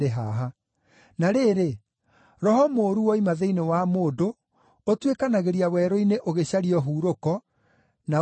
“Na rĩrĩ, roho mũũru woima thĩinĩ wa mũndũ, ũtuĩkanagĩria werũ-inĩ ũgĩcaria ũhurũko, na ũkaaga.